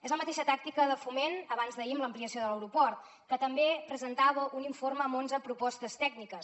és la mateixa tàctica de foment abans d’ahir amb l’ampliació de l’aeroport que també presentava un informe amb onze propostes tècniques